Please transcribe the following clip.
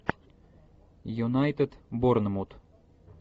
юнайтед борнмут